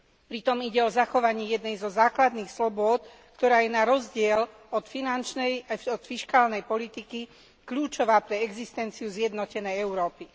Pritom ide o zachovanie jednej zo základných slobôd, ktorá je na rozdiel od finančnej aj od fiškálnej politiky kľúčová pre existenciu zjednotenej Európy.